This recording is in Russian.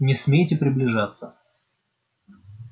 не смейте приближаться